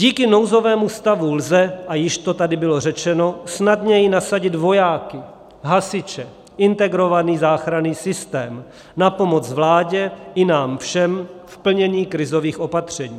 Díky nouzovému stavu lze, a již to tady bylo řečeno, snadněji nasadit vojáky, hasiče, integrovaný záchranný systém na pomoc vládě i nám všem v plnění krizových opatření.